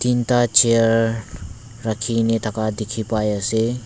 tinta chair rakhigine thaka dikhi pai asey.